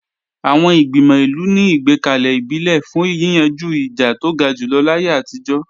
Àwọn Ìgbìmọ̀ ìlú ni ìgbẹ́kalẹ̀ ìbílẹ̀ fún yíyanjú ìjà tó ga jùlọ láyé àtijọ́